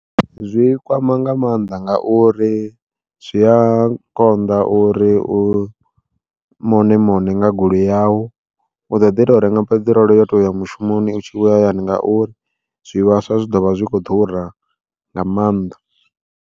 Zwi kwama nga mannḓa ngauri zwi a konḓa uri u mone mone nga goloi yau, u ḓo ḓi tou renga peṱirolo yo to uya mushumoni u tshi vhuya hayani ngauri zwivhaswa zwi ḓovha zwi kho ḓura nga maanḓa.